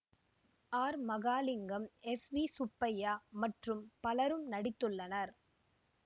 R Mahalingam S V Subbaiah மற்றும் பலரும் நடித்துள்ளனர்